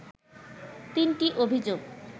তিনটি অভিযোগ